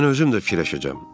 Mən özüm də fikirləşəcəm.